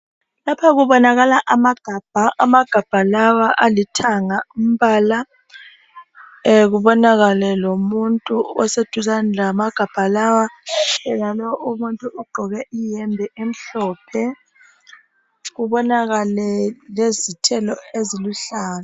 Lapha kubonakala amagabha. Amagabha lawa alithanga umbala. Kubonakale lomuntu oseduzani lamagabha lawa. Yenalowu umuntu ugqoke ihembe emhlophe. Kubonakale lezithelo eziluhlaza.